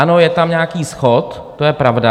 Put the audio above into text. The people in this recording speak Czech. Ano, je tam nějaký schod, to je pravda.